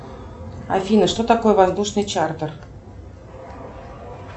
афина что такое воздушный чартер